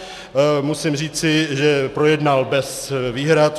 Musím říci, že projednal bez výhrad.